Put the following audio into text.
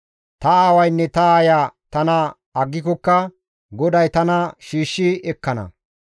Ta aawaynne ta aaya tana aggikokka GODAY tana shiishshi ekkana.